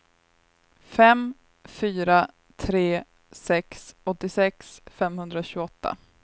fem fyra tre sex åttiosex femhundratjugoåtta